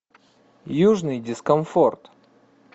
южный дискомфорт